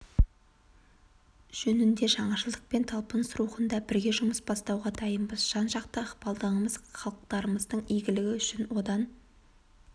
жөнінде жаңашылдық пен талпыныс рухында бірге жұмыс бастауға дайынбыз жан-жақты ықпалдастығымыз халықтарымыздың игілігі үшін одан